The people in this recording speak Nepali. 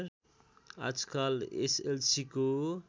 आजकाल एस एल सीको